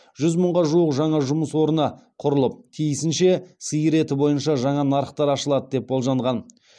жүз мыңға жуық жаңа жұмыс орны құрылып тиісінше сиыр еті бойынша жаңа нарықтар ашылады деп болжанған